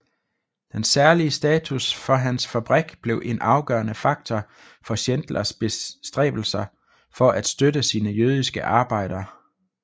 Den særlige status for hans fabrik blev en afgørende faktor for Schindlers bestræbelser for at støtte sine jødiske arbejdere